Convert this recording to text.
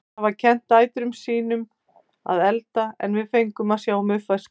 Þær hafa kennt dætrum sín um að elda en við fengum að sjá um uppvaskið.